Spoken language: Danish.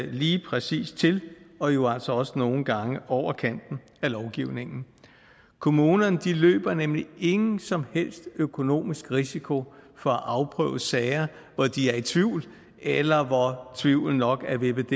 lige præcis til og jo altså også nogle gange over kanten af lovgivningen kommunerne løber nemlig ingen som helst økonomisk risiko for at afprøve sager hvor de er i tvivl eller hvor tvivlen nok er vippet